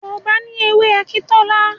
Yorùbá ní èwe Akintola